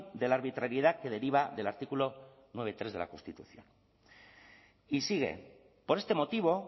de la arbitrariedad que deriva del artículo nueve punto tres de la constitución y sigue por este motivo